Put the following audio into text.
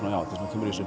kemur í